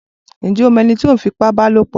Ǹjẹ́ o mọ ẹni tí ó ń fi ipá ba lòpọ̀?